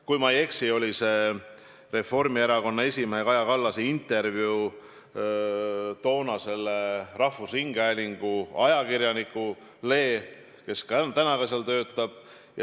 Kui ma ei eksi, siis tegu oli Reformierakonna esimehe Kaja Kallase intervjuuga rahvusringhäälingu ajakirjanikule, kes ka praegu seal töötab.